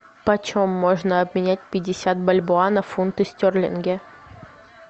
по чем можно обменять пятьдесят бальбоа на фунты стерлинги